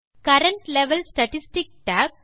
current level statistics tab